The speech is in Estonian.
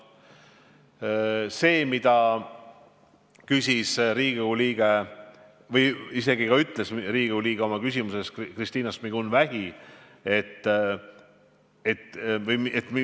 Riigikogu liige Kristina Šmigun-Vähi küsis täna, miks ma olen teatud arvamusel.